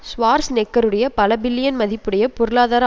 ஷ்வார்ஸ்நெக்கருடைய பல பில்லியன் மதிப்புடைய பொருளாதார